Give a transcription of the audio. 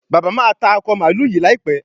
bàbá má tá Akọ mààlúù yí láìpé.